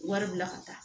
Wari bila ka taa